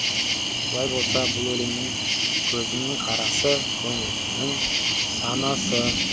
олай болса бұл өлеңнің көзімнің қарасы көңілімнің санасы